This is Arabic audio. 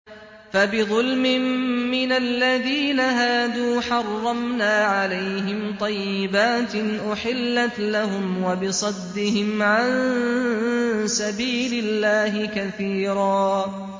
فَبِظُلْمٍ مِّنَ الَّذِينَ هَادُوا حَرَّمْنَا عَلَيْهِمْ طَيِّبَاتٍ أُحِلَّتْ لَهُمْ وَبِصَدِّهِمْ عَن سَبِيلِ اللَّهِ كَثِيرًا